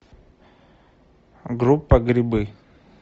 группа грибы